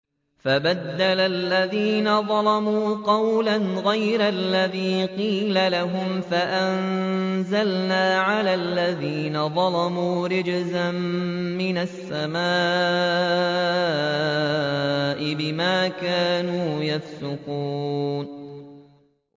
فَبَدَّلَ الَّذِينَ ظَلَمُوا قَوْلًا غَيْرَ الَّذِي قِيلَ لَهُمْ فَأَنزَلْنَا عَلَى الَّذِينَ ظَلَمُوا رِجْزًا مِّنَ السَّمَاءِ بِمَا كَانُوا يَفْسُقُونَ